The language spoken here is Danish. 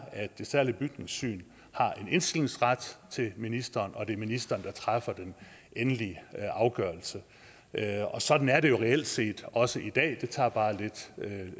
at det særlige bygningssyn har en indstillingsret til ministeren og at det er ministeren der træffer den endelige afgørelse sådan er det jo reelt set også i dag det tager bare